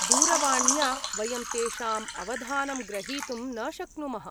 दूरवाण्या वयं तेषां अवधानं ग्रहीतुं न शक्नुमः।